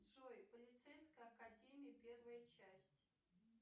джой полицейская академия первая часть